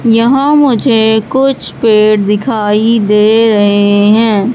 यहां मुझे कुछ पेड़ दिखाई दे रहे हैं।